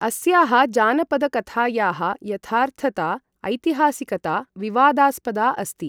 अस्याः जानपदकथायाः यथार्थता ऐतिहासिकता विवादास्पदा अस्ति।